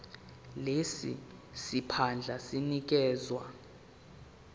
lesi siphandla sinikezwa